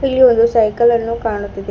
ಇಲ್ಲಿ ಒಂದು ಸೈಕಲ್ ಅನ್ನು ಕಾಣುತ್ತಿದೆ.